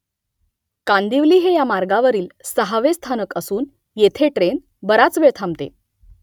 कांदिवली हे या मार्गावरील सहावे स्थानक असून येथे ट्रेन बराच वेळ थांबते